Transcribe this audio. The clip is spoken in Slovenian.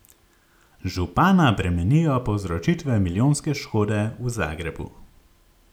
Župana bremenijo povzročitve milijonske škode v Zagrebu.